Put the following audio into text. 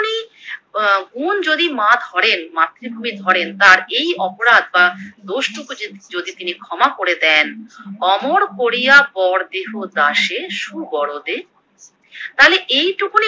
গুণ যদি মা ধরেন মাতৃভূমি ধরেন তার এই অপরাধ বা দোষটুকু যদি তিনি ক্ষমা করে দেন, অমর করিয়া বর দেহ দাসে সুবরদে, তালে এইটুকুনি